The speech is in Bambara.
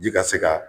Ji ka se ka